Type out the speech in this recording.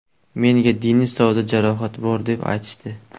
Menga Denisovda jarohat bor deb aytishdi.